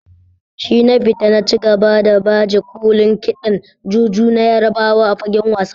Shina Pita na ci gaba da baje kolin kiɗan Juju na Yarbawa a fagen wasa.